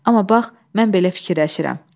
Amma bax, mən belə fikirləşirəm.